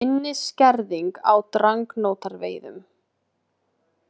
Minni skerðing á dragnótaveiðum